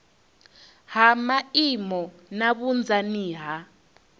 ha maimo na vhunzani ha